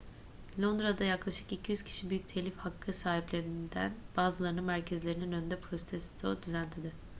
londra'da yaklaşık 200 kişi büyük telif hakkı sahiplerinden bazılarının merkezlerinin önünde protesto düzenledi